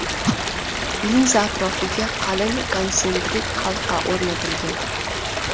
Linza atrofiga qalin konsentrik halqa o‘rnatilgan.